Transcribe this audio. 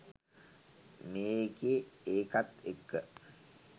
මේකේ එකත් එක්ක